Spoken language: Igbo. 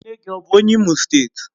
Nne gi bu onye Imo steeti?